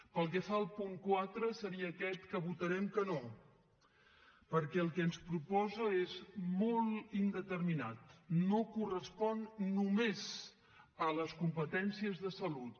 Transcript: pel que fa al punt quatre seria aquest que votarem que no perquè el que ens proposa és molt indeterminat no correspon només a les competències de salut